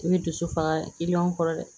I bɛ dusu faga kiliyanw kɔrɔ dɛ